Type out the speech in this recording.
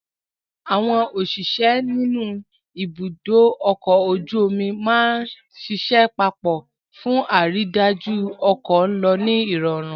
Àwọn òṣìṣẹ́ ní ibùdó ọkọ̀ ojú omi máa ń ṣiṣẹ́ papọ̀ fún àrídájú pé ọkọ̀ ń lọ ní ìrọ̀rùn